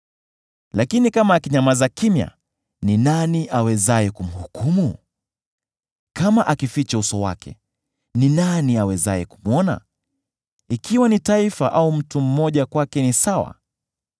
Lakini kama akinyamaza kimya, ni nani awezaye kumhukumu? Kama akiuficha uso wake, ni nani awezaye kumwona? Ikiwa ni taifa au mtu mmoja, kwake ni sawa,